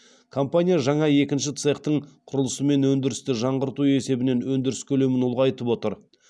компания жаңа екінші цехтың құрылысы мен өндірісті жаңғырту есебінен өндіріс көлемін ұлғайтып отыр